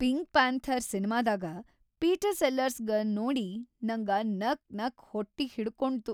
Pink panther ಸಿನಿಮಾದಾಗ Peter ಸೆಲ್ಲರ್ಸ್‌ಗ್ ನೋಡಿ ನಂಗ ನಕ್‌ನಕ್‌ ಹೊಟ್ಟಿಹಿಡ್ಕೊಂಡ್ತು .